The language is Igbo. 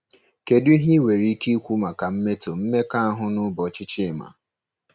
Kedu ihe enwere ike ikwu maka mmetọ mmekọahụ n'ụbọchị Chima?